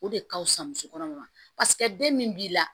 O de ka fusa muso kɔnɔma ma paseke den min b'i la